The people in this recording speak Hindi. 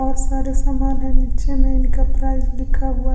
बहोत सारे सामान हैं नीचे में इनका प्राइस लिखा हुआ--